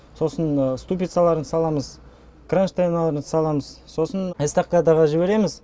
сосын ступицаларын саламыз кронштейналарын саламыз сосын эстакадаға жібереміз